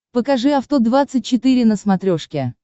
покажи авто двадцать четыре на смотрешке